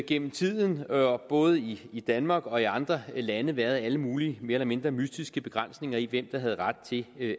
gennem tiden både i i danmark og i andre lande været alle mulige mere eller mindre mystiske begrænsninger i hvem der havde ret til